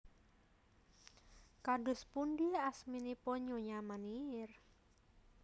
Kados pundi asminipun Nyonya Meneer